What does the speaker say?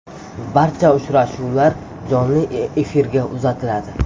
Barcha uchrashuvlar jonli efirga uzatiladi.